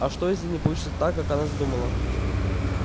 а что если не получится так как она задумала